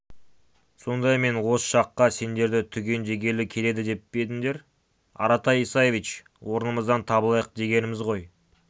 сонда мен осы жаққа сендерді түгендегелі келеді деп пе едіңдер аратай исаевич орнымыздан табылайық дегеніміз ғой